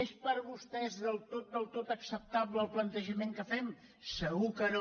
és per vostès del tot del tot acceptable el plantejament que fem segur que no